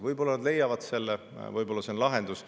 Võib-olla nad leiavad selle, võib-olla see on lahendus.